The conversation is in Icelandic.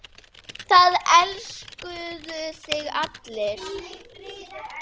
Að auki eru